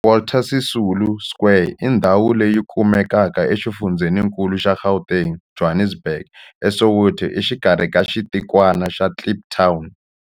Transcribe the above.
Walter Sisulu Square i ndhawu leyi kumekaka exifundzheninkulu xa Gauteng, Johannesburg, a Soweto, exikarhi ka xitikwana xa Kliptown.